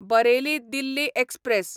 Bareilly Delhi express